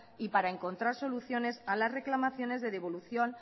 y para encontrar soluciones a las reclamaciones de devolución